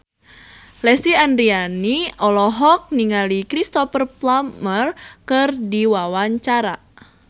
Lesti Andryani olohok ningali Cristhoper Plumer keur diwawancara